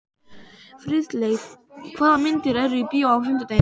Friðleif, hvaða myndir eru í bíó á fimmtudaginn?